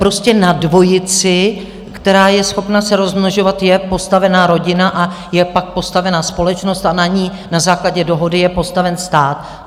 Prostě na dvojici, která je schopna se rozmnožovat, je postavena rodina a je pak postavena společnost a na ní na základě dohody je postaven stát.